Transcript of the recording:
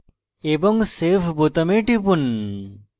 এবং save বোতামে টিপুন